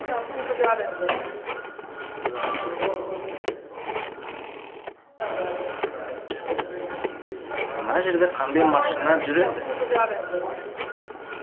мына жерде қандай машина жүреді